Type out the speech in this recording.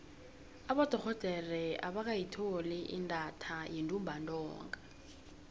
abodorhodere abakayitholi intatha yentumbantonga